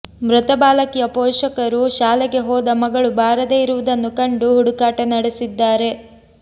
ಮೃತ ಬಾಲಕಿಯ ಪೋಷಕರು ಶಾಲೆಗೆ ಹೋದ ಮಗಳು ಬಾರದೆ ಇರುವುದನ್ನು ಕಂಡು ಹುಡುಕಾಟ ನಡೆಸಿದ್ದಾರೆ